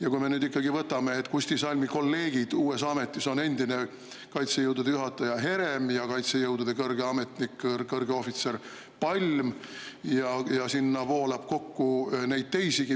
Vaatame nüüd ikkagi, et Kusti Salmi kolleegid tema uues ametis on endine kaitsejõudude juhataja Herem ja kaitsejõudude kõrge ametnik, kõrge ohvitser Palm, ning sinna voolab neid kokku teisigi.